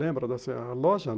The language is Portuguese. Lembra dessa loja?